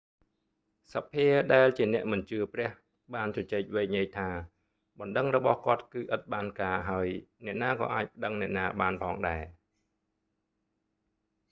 សភាដែលជាអ្នកមិនជឿព្រះ បានជជែកវែកញែកថា បណ្តឹងរបស់គាត់គឺ ឥតបានការ ហើយ អ្នកណាក៏អាចប្តឹងអ្នកណាបានផងដែរ